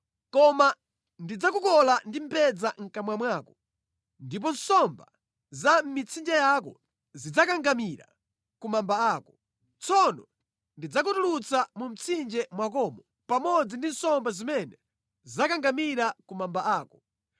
Koma ndidzakukola ndi mbedza mʼkamwa mwako ndipo nsomba za mʼmitsinje yako zidzakangamira ku mamba ako. Tsono ndidzakutulutsa mu mtsinje mwakomo pamodzi ndi nsomba zimene zakangamira ku mamba ako.